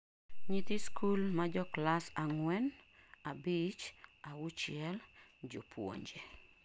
nyithi sikul majoclass ang'wen, abich, auchiel:jopunje